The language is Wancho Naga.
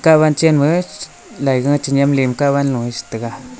hawan chen ma laiga chenam le nem ka taiga.